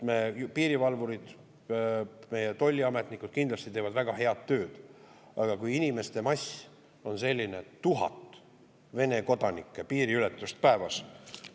Meie piirivalvurid, meie tolliametnikud teevad kindlasti väga head tööd, aga inimeste mass on lihtsalt selline, tuhat Vene kodanike piiriületust päevas.